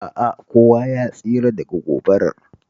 A'a, kowa ya tsira daga gobarar